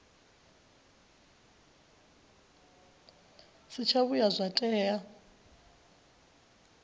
si tsha vhuya zwa tea